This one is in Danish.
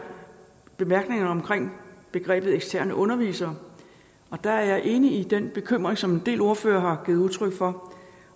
bemærkningerne omkring begrebet eksterne undervisere og der er jeg enig i den bekymring som en del ordførere har givet udtryk for